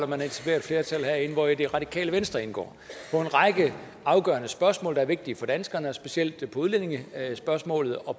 man etablerer et flertal herinde hvori det radikale venstre indgår på en række afgørende spørgsmål der er vigtige for danskerne specielt på udlændingespørgsmålet og